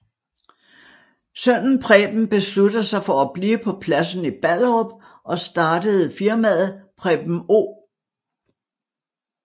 Sønnen Preben beslutter sig for at blive på pladsen i Ballerup og startede firmaet Preben O